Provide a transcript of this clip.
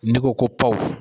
Ne ko ko pawu